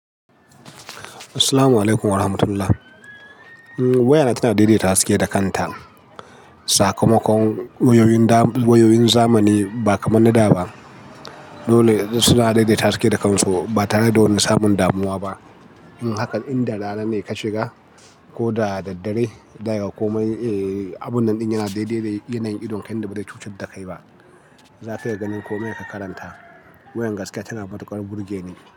Assalamualaikum warahmatullahi. Um wayana tana daidaita haske da kanta. Sakamakon wayoyin da wayoyin zamani ba kaman na da ba. Dole suna daidaita haske da kansu ba tare da woni samun damuwa ba. Haka inda rana ne ka shiga ko da dad-dare, zakaga komai eh abun nan ɗin yana daidaita yanayin idon ka inda bazai cucai da kai ba. Nafi ye ganin komai ka karanta. Wayan gaskiya tana matuƙar burge ni.